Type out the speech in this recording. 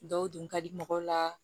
Dɔw dun ka di mɔgɔw la